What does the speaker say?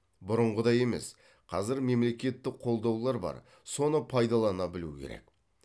бұрынғыдай емес қазір мемлекеттік қолдаулар бар соны пайдалана білу керек